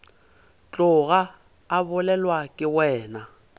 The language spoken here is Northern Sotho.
tloga a bolelwa ke wena